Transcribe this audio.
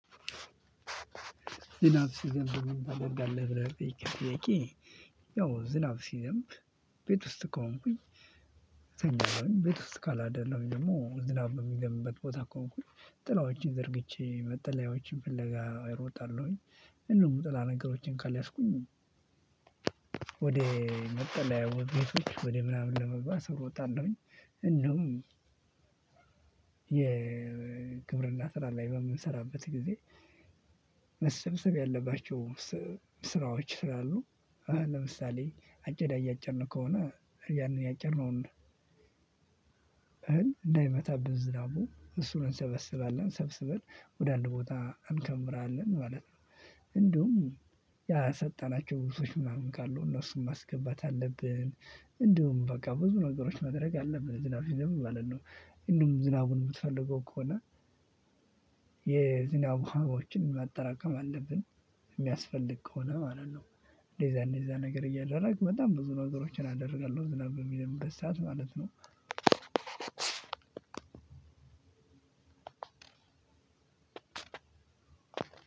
ዝናብ ሲዘንብ ምን ታደርጋለህ ብለህ ለጠየከው ጥያቄ? ያው ዝናብ ሲዘንብ ቤት ውስጥ ከሆንኩኝ። እተኛለሁኝ ቤት ውስጥ ካላደለሁኝ ደግሞ ዝናብ በሚዘንብበት ቦታ ከሆንኩኝ ጥላዎቼን ዘርግቼ መጠለያዎችን ፍለጋ እሮጣለሁኝ። እንዲሁም ጥላ ነገሮቼን ካልያዝኩኝ ወደ መጠለያ ቤቶች ወደ ምናምን ለመግባት እሮጣለሁኝ። እንደውም የግብርና ስራ ላይ በምንሰራበት ጊዜ። መሰብሰብ ያለባቸው ስራዎች ስላሉ ለምሳሌ አጭዳ እያጨድን ከሆነ ያንን ያጨድነውን እንዳይመታብን ዝራቡ እሱን እንሰበስባለን። ሰብስበን ወደ አንድ ቦታ እንከምራለን ማለት ነው። እንዲሁም ያሰጠናቸው ልብሶች ምናምን ካሉ እነሱን ማስገባት አለብን። እንዲሁም በቃ ብዙ ነገሮች ማድረግ አለብን ዝናብ ሲዘንብ ማለት ነው። እንደውም ዝናቡን የምትፈልገው ከሆነ የዝናብ ውሃዎችን ማጠራቀም አለብን። የሚያስፈልግ ከሆነ ማለት ነው። እንደዚያ እንደዚያ ነገር እያደረግን በጣም ብዙ ነገሮችን አደርጋለሁ ዝናብ በሚዘንብበት ሰዓት ማለት ነው።